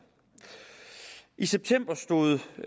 i september stod et